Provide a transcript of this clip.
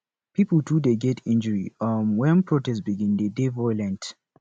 pipo too dey get injury um wen protest begin dey dey violent